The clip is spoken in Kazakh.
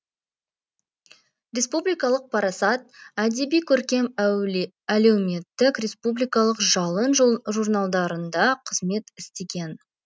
республикалық парасат әдеби көркем әлеуметтік республикалық жалын журналдарында қызмет істеген